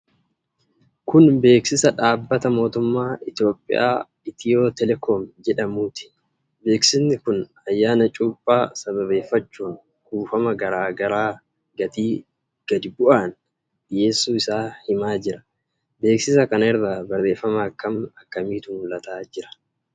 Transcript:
Kun beeksisa dhaabbata mootummaa Itoophiyaa Itiyootelekoom jedhamuuti. Beeksisi kun ayyaana Cuuphaa sababeeffachuun kuufama garaa garaa gatii gadi bu'aan dhiyeessu isaa himaa jira. Beeksisa kana irra barreeffama akkam akkamiitu mul'ata jira?